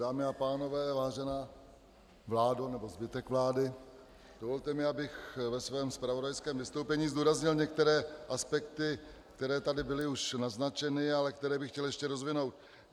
Dámy a pánové, vážená vládo, nebo zbytku vlády, dovolte mi, abych ve svém zpravodajském vystoupení zdůraznil některé aspekty, které tady byly už naznačeny, ale které bych chtěl ještě rozvinout.